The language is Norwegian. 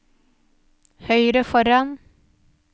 høyre foran